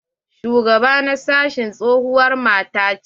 Shugaba na sashi tsohuwar mata ce.